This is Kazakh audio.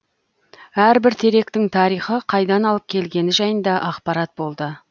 әрбір теректің тарихы қайдан алып келгені жайында ақпарат болды